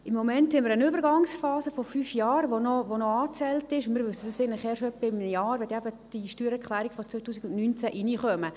Im Moment haben wir eine Übergangsphase von fünf Jahren, die noch angezählt ist, und wir wissen es eigentlich erst etwa in einem Jahr, wenn die Steuererklärungen des Jahres 2019 reinkommen.